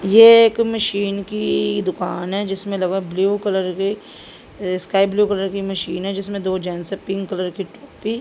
ये एक मशीन की दुकान है जिसमें लगा ब्लू कलर के अह स्काई ब्लू कलर की मशीन है जिसमें दो जेंट्स हैं पिंक कलर की टोपी --